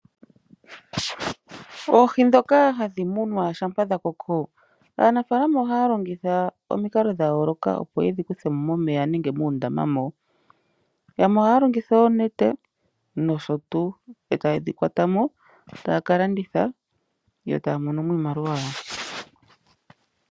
Oohi ndhoka hadhi munwa shampa dhakoko aanafaalama ohaya longitha omikalo dha yooloka opo yedhi kuthemo momeya nenge muundama moka. Yamwe ohaya longitha oonete nosho tuu, eta yedhi kwatamo etaya kalanditha yo taya mono iimaliwa.